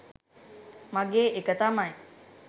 මගේ එක තමයි.